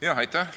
Aitäh!